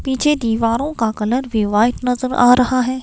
पीछे दीवारों का कलर भी वाइट नजर आ रहा है।